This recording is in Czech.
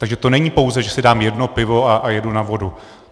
Takže to není pouze, že si dám jedno pivo a jedu na vodu.